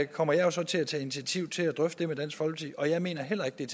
kommer jeg så til at tage initiativ til at drøfte med dansk folkeparti jeg mener heller ikke